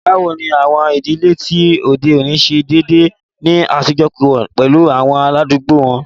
Bawo ni awọn idile ti ode oni ṣe deede ni ajọṣepọ pẹlu awọn aladugbo wọn?